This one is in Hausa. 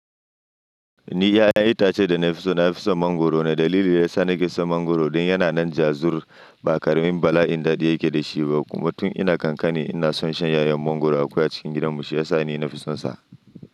Ni 'ya'yan itace da na fi so na fi son mangwaro, da dalili yasa na ke son mangwaro ɗin yana nan ja zur, ba karamin bala'in daɗi yake da shi ba kuma tun ina ƙanƙani ina son shan 'ya'yan mangwaro akwai a cikin gidanmu shi ya sa ni na fi sonsa.